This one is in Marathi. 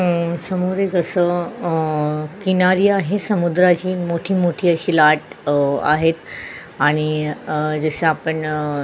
अ समोर एक अस किनारी आहे समुद्राची मोठी मोठी अशी लाट अ आहेत आणि अ जैसे आपण अ --